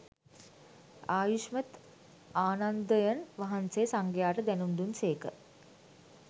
ආයුෂ්මත් ආනන්දයන් වහන්සේ සංඝයාට දැනුම් දුන් සේක